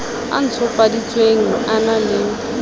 o ntshofaditsweng a na le